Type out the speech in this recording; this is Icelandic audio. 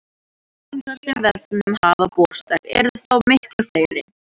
Spurningarnar sem vefnum hafa borist eru þó miklu fleiri.